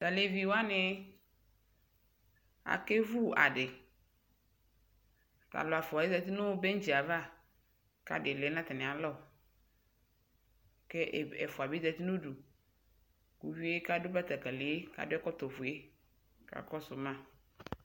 Ta levi wane ake vu ade Ta lu ɛfuaɛ zati no bentsi ava ka ade lɛ no atane alɔ kɛ ɛfua be zari no uduUvie kado batakalie kado ɔkɔtɔ fue ka kɔso ma